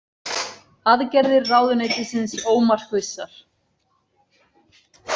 Aðgerðir ráðuneytisins ómarkvissar